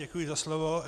Děkuji za slovo.